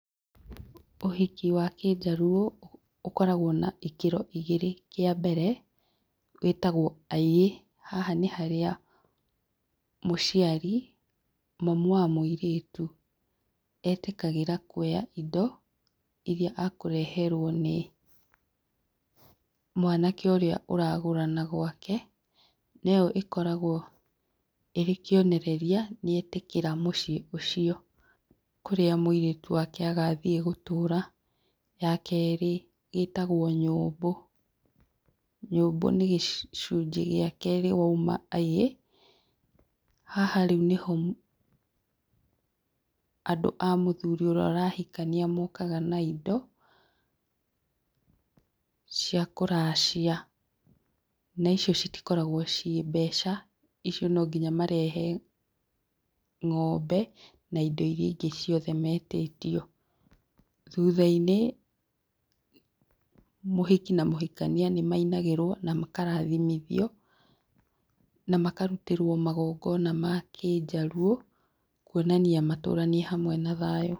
Ũhiki wa kĩnjaluo, ũkoragwo na ikĩro igĩrĩ, kĩa mbere gĩtagwo [aiyee] haha nĩ harĩa mũciari mamu wa mũirĩtu, etĩkagĩra kwoya indo iria ekũreherwo nĩ mwanake ũrĩa ũragũrana gwake, na ĩyo ĩkoragwo ĩrĩ kĩonereria nĩ etĩkĩra mũciĩ ũcio kũrĩa mũirĩtu wake agathiĩ gũtũũra. Ya kerĩ ĩtagwo nyũmbũ, nyũmbũ nĩ gĩcunjĩ gĩa kerĩ woima [aiyee], haha rĩu nĩho andũ a mũthuri ũrĩa ũrahikania mokaga na indo cia kũracia. Na icio citikoragwo ciĩ mbeca, icio no nginya marehe ng'ombe na indo iria ingĩ metĩtio. Thutha-inĩ mũhiki na mũhikania nĩ mainagĩrwo na makarathimithio, na makarutĩrwo magongona ma kĩnjaluo kwonania matũranie hamwe na thayũ.